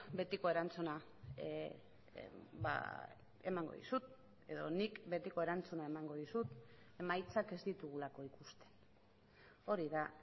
betiko erantzuna emango dizut edo nik betiko erantzuna emango dizut emaitzak ez ditugulako ikusten hori da